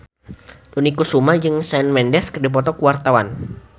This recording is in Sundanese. Dony Kesuma jeung Shawn Mendes keur dipoto ku wartawan